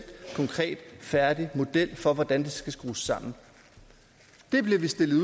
konkret færdig model for hvordan det skal skrues sammen det bliver vi stillet